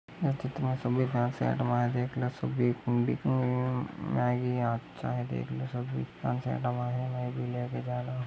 Maggi अच्छा है देख लो सभी --